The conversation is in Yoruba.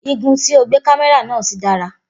Igun tí o gbé kámẹ́rà náà sí dára